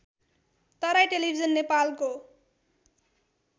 Terai television नेपालको